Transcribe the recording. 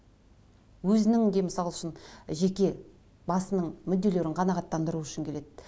өзінің де мысал үшін жеке басының мүдделерін қанағаттандыру үшін келеді